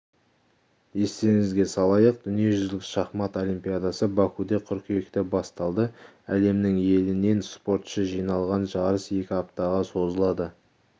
естеріңізге салайық дүниежүзілік шахмат олимпиадасы бакуде қыркүйекте басталды әлемнің елінен спортшы жиналған жарыс екі аптаға созылады